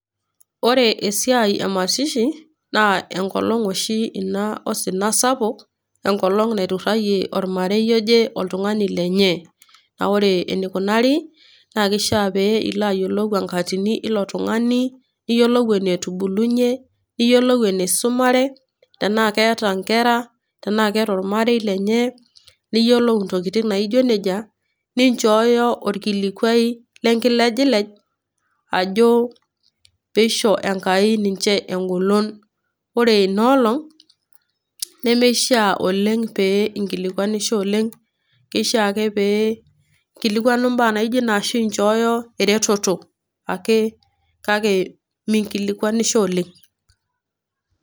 ore esiai e mazishi naa enkolong oshi osina sapuk, enkolong naiturrayie olmarei oje oltungani lenye. Naa ore eneikunarri naa keishii pee ilo ayiolou enkatini eilo tungani, niyiolou enetubulunye, niyolou eneisumare, tenaa keeta inkera, tenaa keeta olmarei lenye, niyoulu intokin naijo neijia, ninchooyo olkilikuai lenkilejilej ajo pee eisho Enkai ninche Engolon. Ore ina olong nemeishiia pee inkillikuanisho oleng keishiiia ake pee inkilikuanu imbaa naijo nena ashu pee inchooyo erretoto ake kake minkilikuanisho oleng.